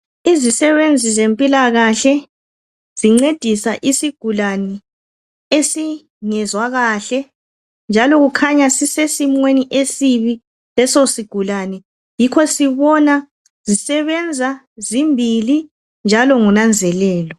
Izisebenzi zempilakahle zincedisa isigulane esingezwa kahle njalo kukhanya sisesimeni esibi leso sigulane yikho sibona zisebenza zimbili njalo ngonanzelelo.